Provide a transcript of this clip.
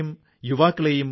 സുഹൃത്തുക്കളേ